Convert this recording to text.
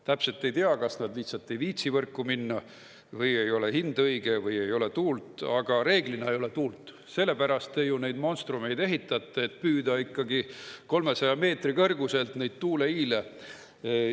Täpselt ei tea, kas nad lihtsalt ei viitsi võrku minna või ei ole hind õige või ei ole tuult, aga reeglina ei ole tuult, selle pärast te ju neid monstrumeid ehitate, et püüda 300 meetri kõrguselt neid tuuleiile.